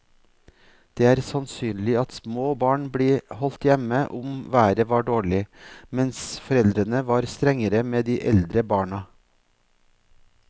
Det er sannsynlig at små barn ble holdt hjemme om været var dårlig, mens foreldrene var strengere med de eldre barna.